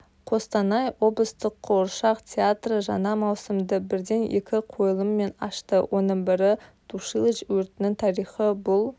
қостанай облыстық қуыршақ театры жаңа маусымды бірден екі қойылыммен ашты оның бірі тушилыч өртінің тарихы бұл